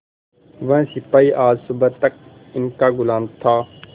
वह सिपाही आज सुबह तक इनका गुलाम था